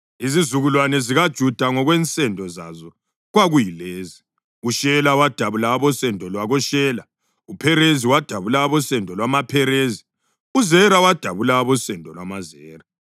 Izizukulwane zikaJuda ngokwensendo zazo kwakuyilezi: uShela wadabula abosendo lwakoShela; uPherezi wadabula abosendo lwamaPherezi; uZera wadabula abosendo lwamaZera.